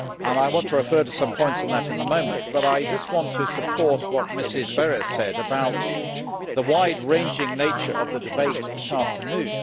I want to refer to some points on that in a moment but I just want to support what Mrs Berès said about the wide ranging nature of the debate this afternoon.